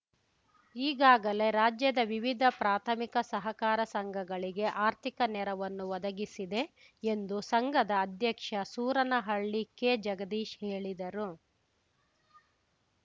ಈಗಾಗಲೇ ರಾಜ್ಯದ ವಿವಿಧ ಪ್ರಾಥಮಿಕ ಸಹಕಾರ ಸಂಘಗಳಿಗೆ ಆರ್ಥಿಕ ನೆರವನ್ನು ಒದಗಿಸಿದೆ ಎಂದು ಸಂಘದ ಅಧ್ಯಕ್ಷ ಸೂರನಹಳ್ಳಿ ಕೆಜಗದೀಶ್‌ ಹೇಳಿದರು